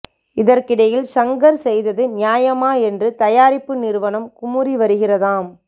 இதற்கிடையில் ஷங்கர் செய்தது நியாயமா என்று தயாரிப்பு நிறுவனம் குமுறி வருகிறதாம்